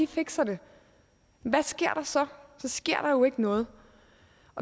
fikser det hvad sker der så så sker der jo ikke noget